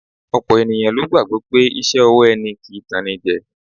Ọ̀pọ̀ ènìyàn ló gbàgbọ́ pé iṣẹ́ ọwọ́ ẹni kì í tanní jẹ